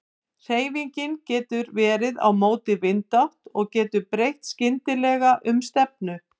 Hreyfingin getur verið á móti vindátt og getur breytt skyndilega um stefnu.